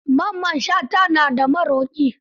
Mamman Shata na da maroƙi.